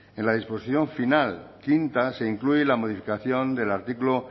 en la disposición final quinta se incluye la modificación del artículo